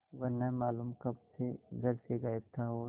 वह न मालूम कब से घर से गायब था और